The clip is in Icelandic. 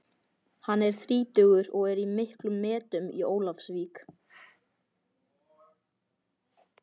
Hann er þrítugur og er í miklum metum í Ólafsvík.